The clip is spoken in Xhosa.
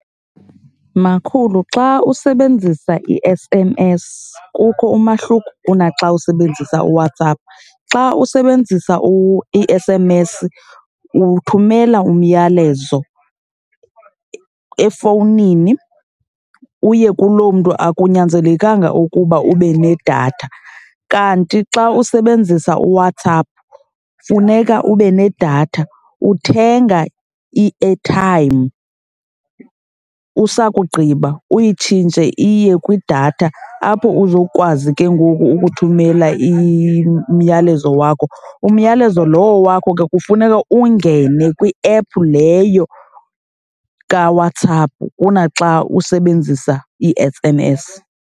Makhulu, xa usebenzisa i-S_M_S kukho umahluko ku naxa usebenzisa uWhatsApp. Xa usebenzisa i-S_M_S uthumela umyalezo efowunini uye kuloo mntu, akunyanzelekanga ukuba ube nedatha. Kanti xa usebenzisa uWhatsApp funeka ube nedatha. Uthenga i-airtime usakugqiba uyitshintshe iye kwidatha apho uzokwazi ke ngoku ukuthumela umyalezo wakho. Umyalezo lowo wakho ke kufuneka ungene kwiephu leyo kuWhatsApp kunaxa usebenzisa ii-S_M_S.